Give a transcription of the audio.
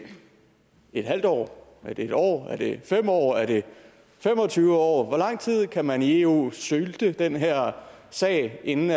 halvt år er det en år er det fem år er det fem og tyve år hvor lang tid kan man i eu sylte den her sag inden